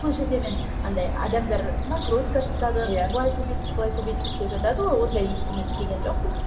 сол жерде мен андай адамдар накрутка жасадық иә былай көбейттік былай көбейттік деп жатады ғой ондай ештеңе істеген жоқпын